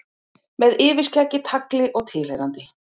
Með yfirskeggi, tagli og tilheyrandi.